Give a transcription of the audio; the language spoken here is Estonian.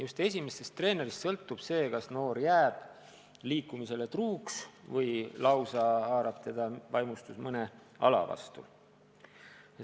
Just esimesest treenerist sõltub, kas noor jääb liikumisele truuks, kas teda haarab vaimustus mõnest alast.